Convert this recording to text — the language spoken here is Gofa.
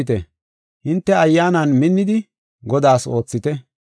Azallofite; hinte ayyaanan minnidi, Godaas oothite.